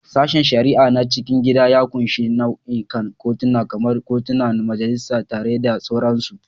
Sashen shari'a na cikin gida ya ƙunshi nau'ikan kotuna, kamar kotunan majistare da sauransu.